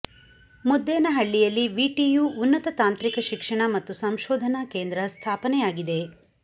ಮುದ್ದೇನಹಳ್ಳಿಯಲ್ಲಿ VTU ಉನ್ನತ ತಾಂತ್ರಿಕ ಶಿಕ್ಷಣ ಮತ್ತು ಸಂಶೋಧನಾ ಕೇಂದ್ರ ಸ್ಥಾಪನೆಯಾಗಿದೆ